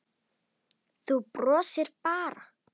Þú brosir bara!